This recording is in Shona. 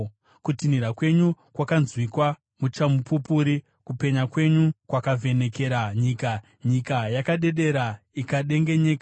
Kutinhira kwenyu kwakanzwika muchamupupuri, kupenya kwenyu kwakavhenekera nyika; nyika yakadedera ikadengenyeka.